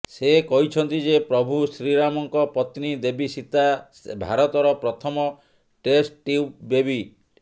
ସେ କହିଛନ୍ତି ଯେ ପ୍ରଭୁ ଶ୍ରୀରାମଙ୍କ ପତ୍ନୀ ଦେବୀ ସୀତା ଭାରତର ପ୍ରଥମ ଟେଷ୍ଟ୍ ଟ୍ୟୁବ୍ ବେବି